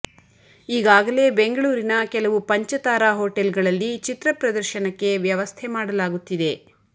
ಈಗಾಗಲೇ ಬೆಂಗಳೂರಿನ ಕೆಲವು ಪಂಚತಾರಾ ಹೋಟೆಲ್ಗಳಲ್ಲಿ ಚಿತ್ರ ಪ್ರದರ್ಶನಕ್ಕೆ ವ್ಯವಸ್ಥೆ ಮಾಡಲಾಗುತ್ತಿದೆ